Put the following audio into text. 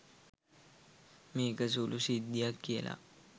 මේක සුළු සිද්ධියක් කියලා.